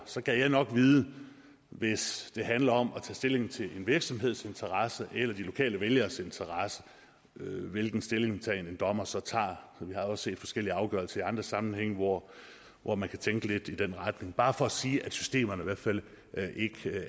så gad jeg nok vide hvis det handler om at tage stilling til en virksomheds interesse eller de lokale vælgeres interesse hvilken stillingtagen en dommer så tager vi har også set forskellige afgørelser i andre sammenhænge hvor hvor man kan tænke lidt i den retning bare for sige at systemerne i hvert fald ikke